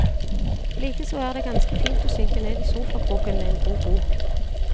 Likeså er det ganske fint å synke ned i sofakroken med en god bok.